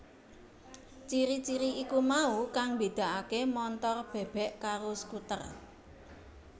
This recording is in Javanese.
Ciri ciri iku mau kang mbédakaké montor bèbèk karo skuter